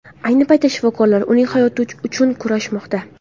Ayni paytda shifokorlar uning hayoti uchun kurashmoqda.